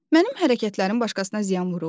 Mənim hərəkətlərim başqasına ziyan vurur?